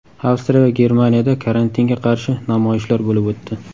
Avstriya va Germaniyada karantinga qarshi namoyishlar bo‘lib o‘tdi .